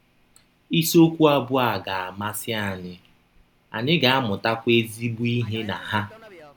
Isiọkwụ abụọ a ga - amasị anyị, anyị ga - amụtakwa ezịgbọ ihe na ha.